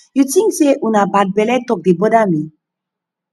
you think say una bad belle talk dey bother me